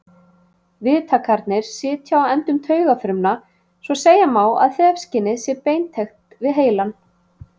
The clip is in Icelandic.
Viðtakarnir sitja á endum taugafrumna svo segja má að þefskynið sé beintengt við heilann.